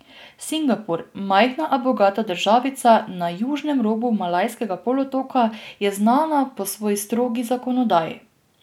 Singapur, majhna a bogata državica na južnem robu Malajskega polotoka, je znana po svoji strogi zakonodaji.